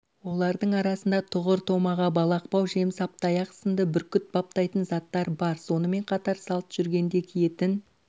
олардың арасында тұғыр томаға балақбау жемсаптаяқ сынды бүркіт баптайтын заттар бар сонымен қатар салт жүргенде киетін